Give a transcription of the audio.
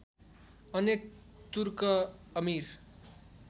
अनेक तुर्क अमीर